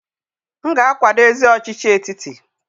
M ga-akwado ezi ọchịchị etiti.